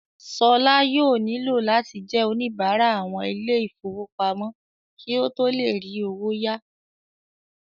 Ṣọlá yóò nílò láti jẹ́ oníbárà àwọn ilé ìfowópamọ́ kí ó tó le rí owó ya